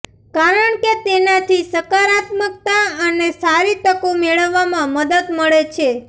કારણ કે તેનાથી સકરાત્મકતા અને સારી તકો મેળવવામાં મદદ મળે છે